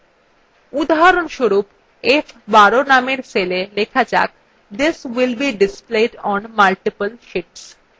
উদাহরণস্বরূপ f12 নামের cell লেখা যাক this will be displayed on multiple sheets